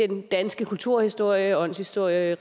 den danske kulturhistorie åndshistorie